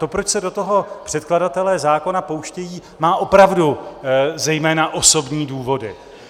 To, proč se do toho předkladatelé zákona pouštějí, má opravdu zejména osobní důvody.